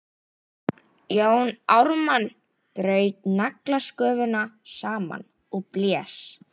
Jón Ármann braut naglasköfuna saman og blés.